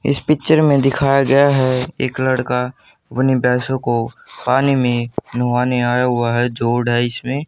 इस पिक्चर में दिखाया गया है एक लड़का अपनी भैंसों को पानी में नुहाने आया हुआ है इसमें।